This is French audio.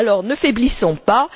Alors ne faiblissons pas!